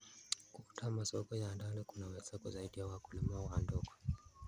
Kuunda masoko ya ndani kunaweza kusaidia wakulima wa ndogo.